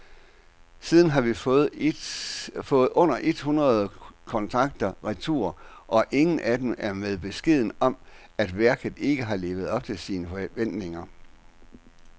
Siden har vi fået under et hundrede kontrakter retur, og ingen af dem er med beskeden om, at værket ikke har levet op til forventningerne.